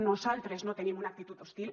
nosaltres no tenim una actitud hostil